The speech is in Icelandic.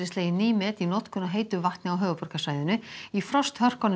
slegin ný met í notkun á heitu vatni á höfuðborgarsvæðinu í frosthörkunum